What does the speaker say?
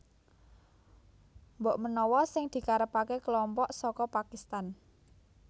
Mbok menawa sing dikarepaké kelompok saka Pakistan